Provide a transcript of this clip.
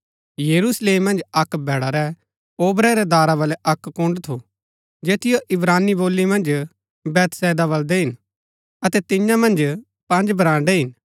यरूशलेम मन्ज अक्क भैडा रै ओबरै रै दारा बलै अक्क कुन्ड़ थू जैतियो इब्रानी बोली मन्ज बैतहसदा बलदै हिन अतै तियां मन्ज पँज बराण्ड़ै हिन